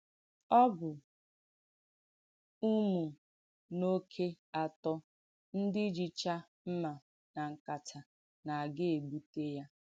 Ọ́ bù ùmùnọkè àtọ̀ ndí jìchà m̀mà nà nkátà nà-àgà ègbútè yà.”